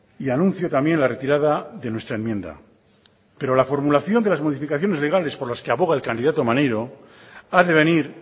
y anuncio también la retirada de nuestra enmienda pero la formulación de las modificaciones legales por las que aboga el candidato maneiro ha de venir